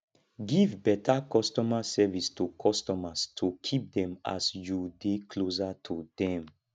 give better customer service to customers to keep them as you dey closer to them